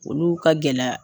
Olu ka gɛlɛya.